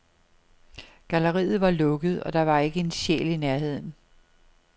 Galleriet var lukket, og der var ikke en sjæl i nærheden.